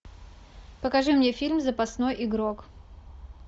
покажи мне фильм запасной игрок